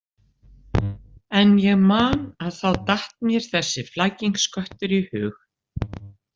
En ég man að þá datt mér þessi flækingsköttur í hug.